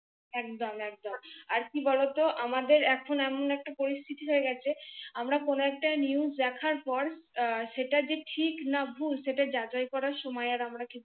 একদম একদম, আর কি বলত আমাদের এখন এমন একটি পরিস্থিতি হয়ে গেছে। আমরা কোন একটা নি NEWS দেখার পর সেটা যে ঠিক না ভুল, সেটা যাচাই করার সময় আর আমরা